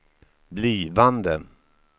blivande